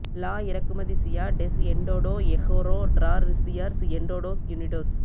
லா இறக்குமதிசியா டெஸ் எஸ்டோடோ எ ஹோரா டிராரிசியர்ஸ் எஸ்டடோஸ் யுனிடோஸ்